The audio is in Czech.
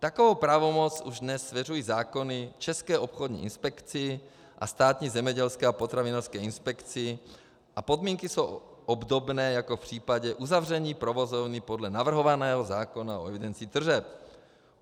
Takovou pravomoc už dnes svěřují zákony České obchodní inspekci a Státní zemědělské a potravinářské inspekci a podmínky jsou obdobné jako v případě uzavření provozovny podle navrhovaného zákona o evidenci tržeb.